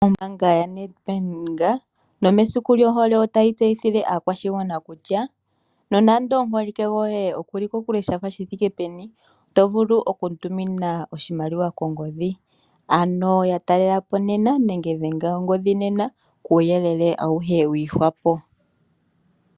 Ombaanga yoNedbank nomesiku lyohole otayi tseyithile aakwashigwana kutya nonando omuholike goye okuli kokule shi thiike peni, oto vulu okumu tumina oshimaliwa kongodhi. Ano ya talela po nena nenge dhenga ongodhi nena kuuyelele awuhe wi ihwapo.